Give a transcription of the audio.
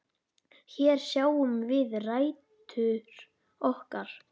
Hér sjáum við rætur okkar.